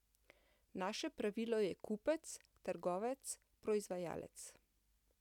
Naše pravilo je kupec, trgovec, proizvajalec.